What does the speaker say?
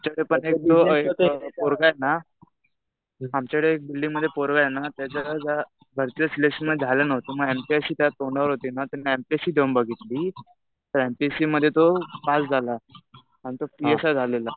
Same आमच्याकडे पण एक पोरगा आहे ना आमच्याकडे एक बिल्डिंगमध्ये पोरगा आहे ना त्याचं भरतीच्या सिलेक्शन मध्ये झालं नव्हतं. मग एमपीएससी तेव्हा तोंडावर होती ना, त्यानी एमपीएससी देऊन बघितली. तर एमपीएससी मध्ये तो पास झाला. आता पीएसआय झालेला.